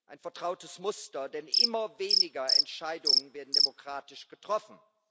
Ein vertrautes Muster, denn immer weniger Entscheidungen werden demokratisch getroffen.